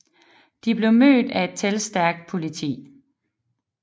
De blev mødt af et talstærkt politi